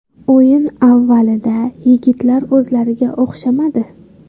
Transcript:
O‘yin avvalida yigitlar o‘zlariga o‘xshamadi.